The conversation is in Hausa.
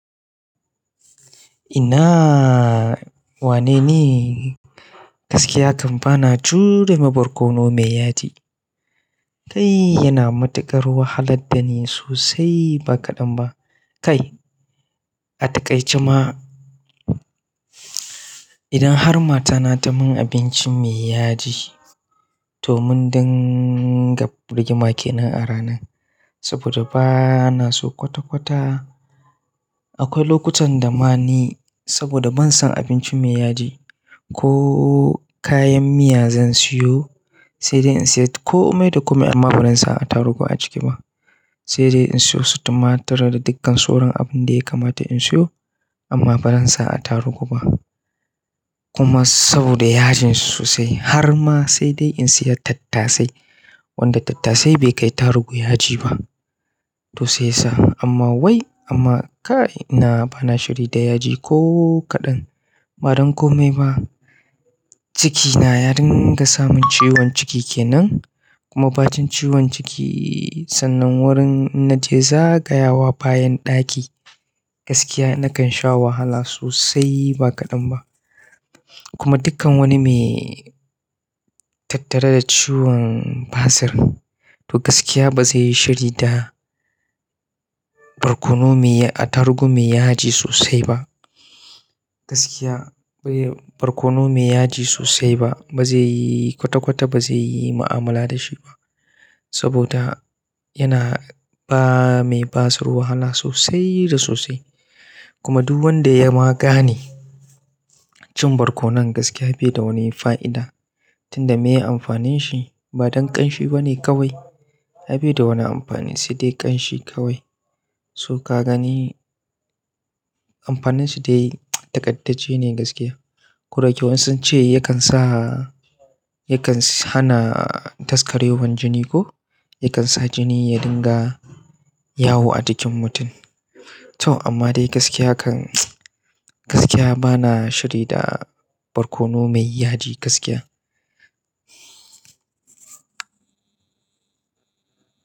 Ina wane ni gaskiya kan ba na jure ma barkono mai yaji. Kai yana matuƙar wahalar da ni sosai ba kaɗan ba. Kai ataƙaice ma idan har matana ta mun abinci mai yaji to mun dinga rigima ke nan a ranan. Saboda ba na so kwata-kwata. Akwai lokutan da ma ni saboda ban son abinci mai yaji ko kayan miya zan siyo sai dai in siya kome da kome amma barin sa a tarugu a ciki ba. Sai dai in siyo su tumatur da dukkan soron abun da ya kamata in siyo amma barin sa a tarugu ba. Kuma saboda yajin sosai har ma sai dai in siya tattasai wanda tattasai bai kai tarugu yaji ba to sai sa. Amma wai amma kai ina bana shiri da yaji ko kaɗan. Badan komai ba cikina, ya dunga samun ciwon ciki kenan kuma batun ciwon ciki sannan wurin inna je zagayawa bayan ɗaki gaskiya nakan sha wahala sosai ba kaɗan ba. Kuma dukkan wani mai tattare da ciwon basir to gaskiya ba zai yi shiri da barkono mai a tarugu mai yaji sosai ba. Gaskiya barkono mai yaji sosai ba zai yi kwata-kwata ba zai yi mu'amala da shi ba. Saboda yana ba mai basir wahala sosai da sosai. Kuma duk wanda ya ma gane cin barkono nan gaskiya bai da wani fa'ida tunda me yi amfanin shi ba don ƙanshi bane kawai. Ai baida wani amfanin sai dai ƙanshi kawai. To ka gani amfanin shi dai taƙaddace ne gaskiya. Koda yake wasu sunce yakan sa yakan hana daskarewan jini ko yakan sa jini ya dinga yawo a jikin mutum. To amma dai gaskiya kan gaskiya bana shiri da barkono mai yaji gaskiya.